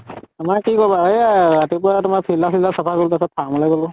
আমাৰ কি কবা এয়া ৰাতিপৱা তোমাৰ filter চিল্তাৰ চাফা কৰিলো তাৰ পিছত farm লৈ গলো।